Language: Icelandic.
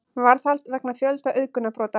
Varðhald vegna fjölda auðgunarbrota